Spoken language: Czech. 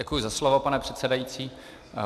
Děkuji za slovo, pane předsedající.